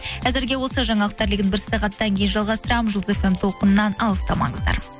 әзірге осы жаңалықтар легін бір сағаттан кейін жалғастырамын жұлдыз эф эм толқынынан алыстамаңыздар